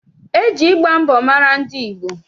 E ji ịgba mbọ mara ndị Igbo.